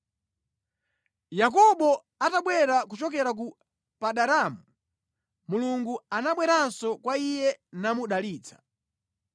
Yakobo atabwera kuchokera ku Padanaramu, Mulungu anabweranso kwa iye namudalitsa.